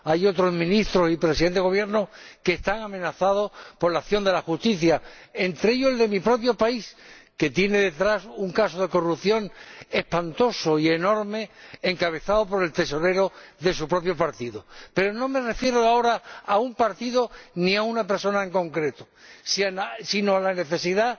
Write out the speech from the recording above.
hay otros ministros y presidentes de Gobierno que están amenazados por la acción de la justicia, entre ellos el de mi propio país, que tiene detrás un caso de corrupción espantoso y enorme encabezado por el tesorero de su propio partido. Pero no me refiero ahora a un partido ni a una persona en concreto, sino a la necesidad,